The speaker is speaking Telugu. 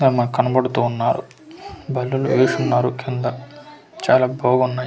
మాక్ కనబడుతూ ఉన్నారు బల్లులు వేసున్నారు కింద చాలా బాగున్నాయ్--